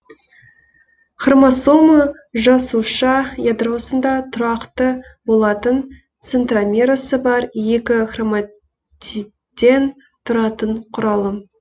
хромосома жасуша ядросында тұрақты болатын центромерасы бар екі хроматидтен тұратын құралым